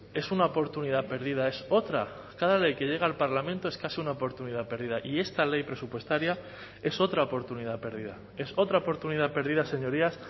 es una oportunidad perdida es otra cada ley que llega al parlamento es casi una oportunidad perdida y esta ley presupuestaria es otra oportunidad perdida es otra oportunidad perdida señorías